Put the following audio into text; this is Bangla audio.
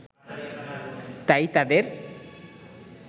তাই তাদের